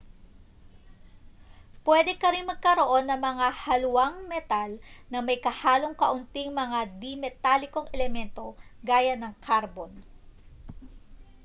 pwede ka ring magkaroon ng mga haluang metal na may kahalong kaunting mga di-metalikong elemento gaya ng karbon